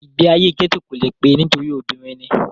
ìgbé ayé gẹ́tò kò le pé e nítorí obìnrin ni